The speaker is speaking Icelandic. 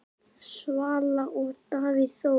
Svala og Davíð Þór.